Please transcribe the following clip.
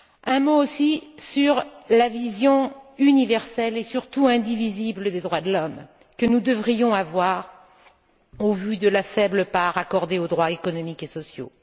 Un mot aussi sur la vision universelle, et surtout indivisible, des droits de l'homme, que nous devrions avoir au vu de la faible part accordée aux droits économiques et sociaux.